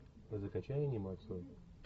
закачай анимацию